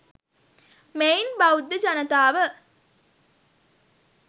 මෙයින් බෞද්ධ ජනතාව